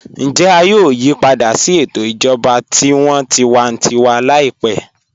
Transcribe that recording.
Ǹjẹ à yòò yípadà sí ètò ìjọba tí wọ́n tìwàntìwà láípẹ̀?